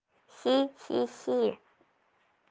хи хи хи